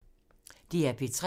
DR P3